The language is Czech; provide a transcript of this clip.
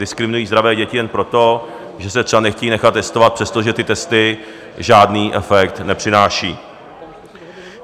Diskriminují zdravé děti jenom proto, že se třeba nechtějí nechat testovat, přestože ty testy žádný efekt nepřináší.